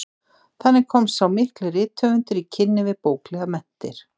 Þannig komst sá mikli rithöfundur í kynni við bóklegar menntir.